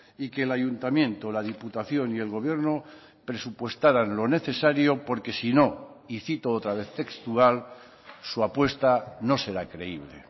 y que el ayuntamiento la diputación y el gobierno presupuestaran lo necesario porque si no y cito otra vez textual su apuesta no será creíble